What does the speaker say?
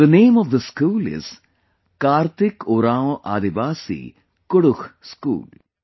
The name of this school is, 'Karthik Oraon Aadivasi Kudukh School'